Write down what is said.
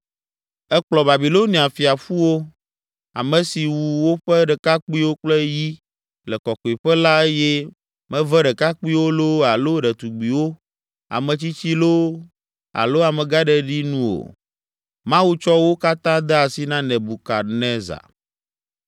Ekplɔ Babilonia fia ƒu wo, ame si wu woƒe ɖekakpuiwo kple yi le Kɔkɔeƒe la eye meve ɖekakpuiwo loo alo ɖetugbiwo, ametsitsi loo alo amegãɖeɖi nu o. Mawu tsɔ wo katã de asi na Nebukadnezar.